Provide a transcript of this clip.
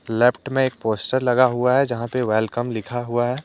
Left में एक poster लगा हुआ है यहां पे वेलकम लिखा हुआ है।